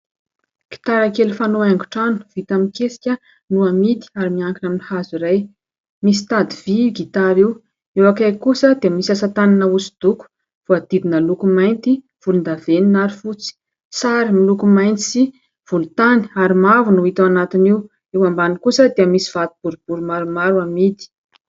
Gitara kely fanao haingon-trano vita amin'ny kesika no amidy ary miankina amin'ny hazo iray , misy tady vy io gitara io. Eo akaiky kosa dia misy asa tanana hosodoko voadidina loko mainty, volon-davenona ary fotsy ; sary miloko mainty sy volontany ary mavo no hita ao anatin'io. Eo ambany kosa dia misy vato boribory maromaro amidy.